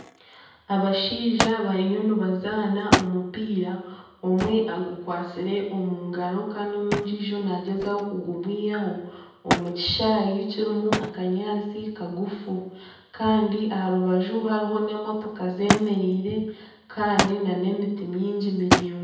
Abashaija bariyo nibazaana omupiira omwe agukwatsire omungaro Kandi ondiijo nagyezaho kugumwihaho omu kishaayi kirimu akanyaatsi kagufu kandi aha rubaju hariho n'emotoka zemereire kandi nana emiti mingi miraingwa.